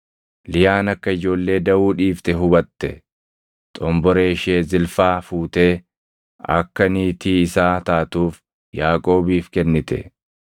Liyaan akka ijoollee daʼuu dhiifte hubatte; xomboree ishee Zilfaa fuutee akka niitii isaa taatuuf Yaaqoobiif kennite.